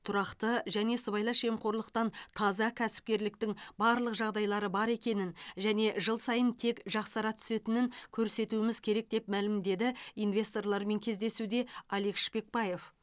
тұрақты және сыбайлас жемқорлықтан таза кәсіпкерліктің барлық жағдайлары бар екенін және жыл сайын тек жақсара түсетінін көрсетуіміз керек деп мәлімдеді инвесторлармен кездесуде алик шпекбаев